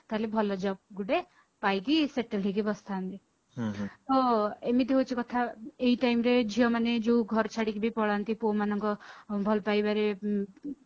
ତାହାଲେ ଭଲ job ଗୋଟେ ପାଇକି settle ହେଇକି ବସିଥାନ୍ତି ହୁଁ ହୁଁ ଏମିତି ହଉଛି କଥା ଏଇ time ରେ ଝିଅମାନେ ଯୋଉ ଘର ଛାଡିକି ବି ପଳାନ୍ତି ପୁଅ ମାନଙ୍କ ଭଲ ପାଇବାରେ ଉଁ ଉଁ